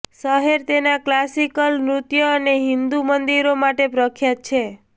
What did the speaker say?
શહેર તેના ક્લાસિકલ નૃત્ય અને હિન્દુ મંદિરો માટે પ્રખ્યાત છે